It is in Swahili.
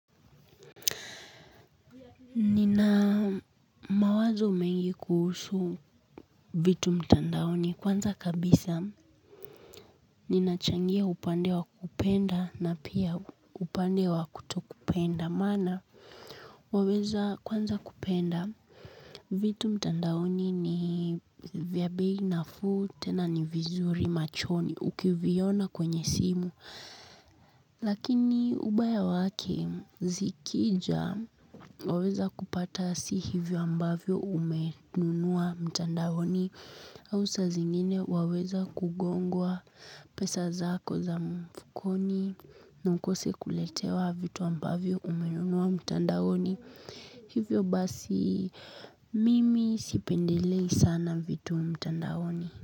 Nina mawazo mengi kuhusu vitu mtandaoni kwanza kabisa. Ninachangia upande wa kupenda na pia upande wa kutokupenda. Maana waweza kwanza kupenda vitu mtandaoni ni vya bei nafuu tena ni vizuri machoni ukiviona kwenye simu. Lakini ubaya wake zikija waweza kupata si hivyo ambavyo umenunua mtandaoni au saa zingine waweza kugongwa pesa zako za mfukoni na ukose kuletewa vitu ambavyo umenunua mtandaoni. Hivyo basi mimi sipendelei sana vitu mtandaoni.